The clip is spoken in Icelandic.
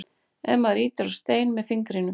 ef maður ýtir á stein með fingrinum